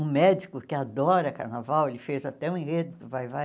Um médico que adora carnaval, ele fez até um enredo do Vai-vai.